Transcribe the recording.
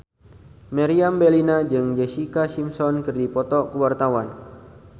Meriam Bellina jeung Jessica Simpson keur dipoto ku wartawan